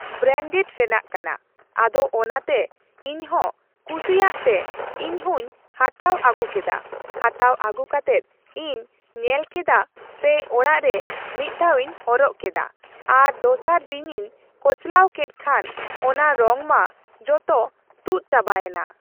Branded ᱨᱮᱱᱟᱜ ᱠᱟᱱᱟ ᱾ᱟᱫᱚ ᱚᱱᱟᱛᱮ ᱤᱧ ᱦᱚᱸ ᱠᱩᱥᱤᱣᱟᱜ ᱛᱮ ᱤᱧ ᱦᱚᱸᱧ ᱦᱟᱛᱟᱣ ᱟᱹᱜᱩ ᱠᱮᱫᱟ ᱾ ᱦᱟᱛᱟᱣ ᱟᱹᱜᱩ ᱠᱟᱛᱮᱫ ᱤᱧ ᱧᱮᱞ ᱠᱮᱫᱟ ᱥᱮ ᱚᱲᱟᱜ ᱨᱮ ᱢᱤᱫ ᱫᱷᱟᱣᱤᱧ ᱦᱚᱨᱚᱜ ᱠᱮᱫᱟ, ᱟᱨ ᱫᱚᱥᱟᱨ ᱫᱤᱱᱤᱧ ᱠᱚᱪᱞᱟᱣ ᱠᱮᱫ ᱠᱷᱟᱱ ᱚᱱᱟ ᱨᱚᱝ ᱢᱟ ᱡᱚᱛᱚ ᱛᱩᱫ ᱪᱟᱵᱟᱭᱮᱱᱟ